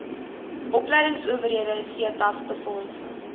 opleingsowerhede setas befondsing